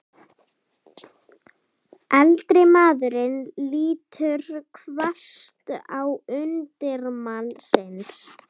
Eldri maðurinn lítur hvasst á undirmann sinn.